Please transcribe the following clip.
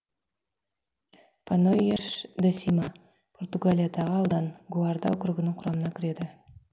панойяш де сима португалиядағы аудан гуарда округінің құрамына кіреді